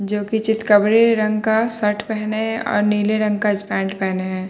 जोकि चितकवरे रंग का सर्ट पहने हैं और नीले रंग का इस पैंट पहने हैं।